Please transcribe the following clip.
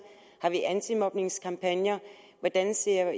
er der antimobningskampagner hvordan ser